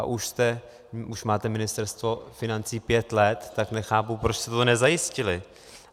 A už máte Ministerstvo financí pět let, tak nechápu, proč jste to nezajistili.